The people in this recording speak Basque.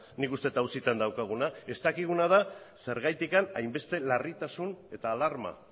nik uste dut auzitan daukaguna ez dakiguna da zergatik hainbeste larritasun eta alarma